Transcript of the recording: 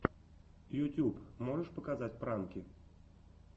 ютюб можешь показать пранки